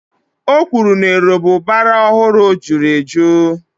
O kwuru na erombubara ọ hụrụ jụrụ ejụ́